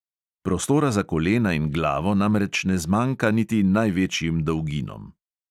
Prostora za kolena in glavo namreč ne zmanjka niti največjim dolginom.